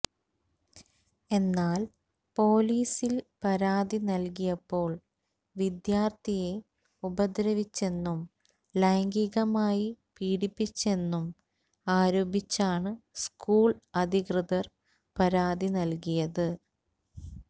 എന്നാൽ പൊലീസിൽ പരാതി നൽകിയപ്പോൾ വിദ്യാർത്ഥിയെ ഉപദ്രവിച്ചെന്നും ലൈംഗികമായി പീഡിപ്പിച്ചെന്നും ആരോപിച്ചാണ് സ്കൂൾ അധികൃതർ പരാതി നൽകിയത്